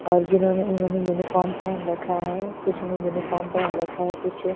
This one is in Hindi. और जिन्होंने उन्होंने यूनिफार्म पहन रखा है कुछ ने यूनिफार्म पहेन रखा है कुछ--